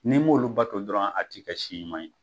N'i m'olu bato dɔrɔn a tɛ ka si ɲuman ye